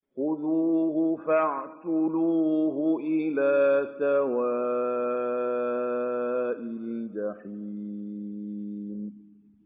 خُذُوهُ فَاعْتِلُوهُ إِلَىٰ سَوَاءِ الْجَحِيمِ